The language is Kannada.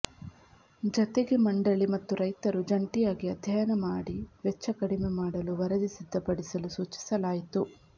ಜತೆಗೆ ಮಂಡಳಿ ಮತ್ತು ರೈತರು ಜಂಟಿಯಾಗಿ ಅಧ್ಯಯನ ಮಾಡಿ ವೆಚ್ಚ ಕಡಿಮೆ ಮಾಡಲು ವರದಿ ಸಿದ್ಧಪಡಿಸಲು ಸೂಚಿಸಲಾಯಿತು